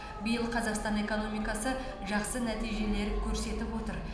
биыл қазақстан экономикасы жақсы нәтижелер көрсетіп отыр